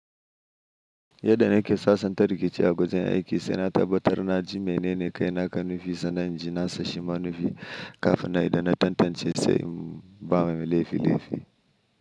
Yadda na ke sasanta rikici a wajen aiki, saina tabbatar na ji mene ne kai na kan nufi, sannan ji nasa shi ma nufi kafin na idan na tantance sai ba mai laifi laifi.